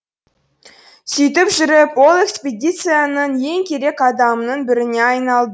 сөйтіп жүріп ол экспедицияның ең керек адамының біріне айналды